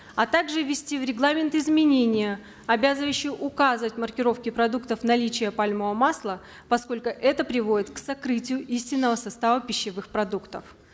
а также ввести в регламент изменения обязывающие указывать в маркировке продуктов наличие пальмового масла поскольку это приводит к сокрытию истинного состава пищевых продуктов